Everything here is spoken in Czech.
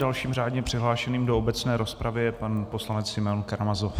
Dalším řádně přihlášeným do obecné rozpravy je pan poslanec Simeon Karamazov.